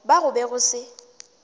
ba go be go se